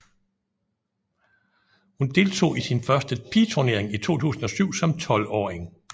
Hun deltog i sin første pigeturnering i 2007 som 12 åring